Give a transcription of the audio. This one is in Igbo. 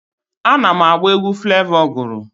Ana m agba egwu Flevọ gụrụ.